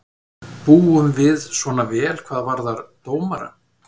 Búum við svona vel hvað varðar dómara?